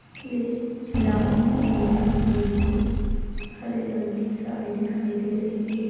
इस में लाल नीले बैंगनी हरे रंग की साड़ी दिखाई दे रही है।